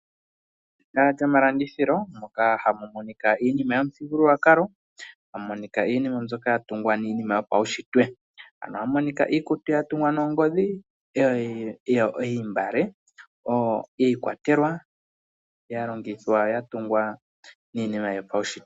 Ehala lyomalandithilo moka hamu monika iinima yomuthigululwakalo, tamu monika iinima mbyoka ya tungwa iinima yopaushitwe. Ano ohamu monika iikutu ya tungwa nongodhi, niimbale oyo ikwa telwa ya longithwa oku tungwa niinima yopaushitwe.